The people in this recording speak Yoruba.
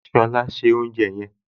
Ṣọlá se oúnjẹ yẹn!